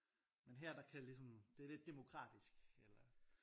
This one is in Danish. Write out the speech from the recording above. Men her der kan det ligesom det er lidt demokratisk eller